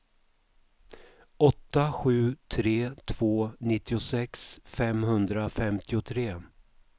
åtta sju tre två nittiosex femhundrafemtiotre